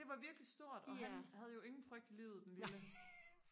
det var virkelig stort og han havde jo ingen frygt i livet den lille